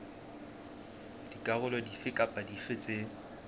dikarolo dife kapa dife tse